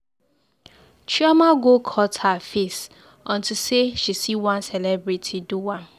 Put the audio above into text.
Chioma go cut her face unto say she see say one celebrity do am.